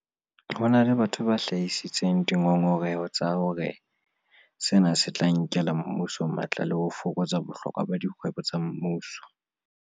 Ho na le batho ba hlahisitseng dingongoreho tsa hore sena se tla nkela mmuso matla le ho fokotsa bohlokwa ba dikgwebo tsa mmuso.